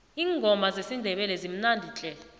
iingoma zesindebele zimnandi tle